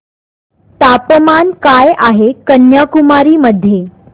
तापमान काय आहे कन्याकुमारी मध्ये